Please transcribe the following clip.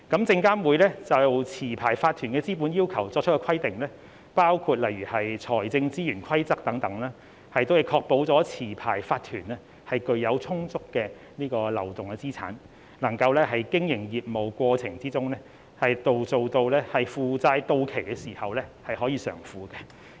證監會就持牌法團的資本要求作出的規定，包括例如財政資源規則等，亦確保持牌法團具有充足流動資產，能夠在經營業務的過程中，當負債到期時可以償付。